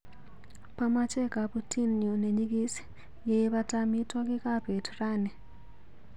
Pamache kabutinyu neny'ikis yeibata amitwogikap bet rani.